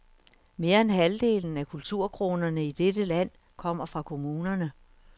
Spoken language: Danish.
Mere end halvdelen af kulturkronerne i dette land kommer fra kommunerne.